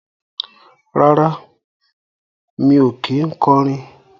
Rárá, mi ò kí ń kọrin